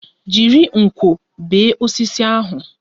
Jiri nkwọ bee osisi ahụ!